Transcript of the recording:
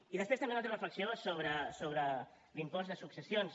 i després també una altra reflexió sobre l’impost de successions